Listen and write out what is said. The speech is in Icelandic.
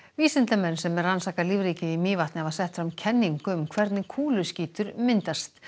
vísindamenn sem rannsaka lífríkið í Mývatni hafa sett fram kenningu um hvernig kúluskítur myndast